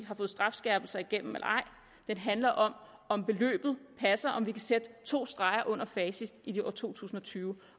har fået strafskærpelser igennem den handler om om beløbet passer og om vi kan sætte to streger under facit i år to tusind og tyve